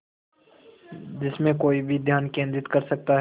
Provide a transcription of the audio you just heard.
जिसमें कोई भी ध्यान केंद्रित कर सकता है